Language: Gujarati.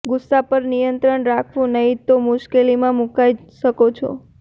ગુસ્સા પર નિયંત્રણ રાખવું નહિં તો મુશ્કેલીમાં મૂકાઈ શકો છો